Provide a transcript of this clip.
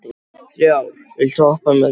Þrá, viltu hoppa með mér?